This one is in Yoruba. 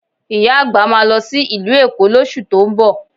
Ìyá àgbà máa lọ sí ìlú Èkó lóṣù tó ń bọ̀